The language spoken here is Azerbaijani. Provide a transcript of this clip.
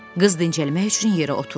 Qız dincəlmək üçün yerə oturdu.